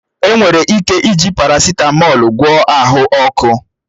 Enwere ike iji parasịtamọl gwọọ ahụ ọkụ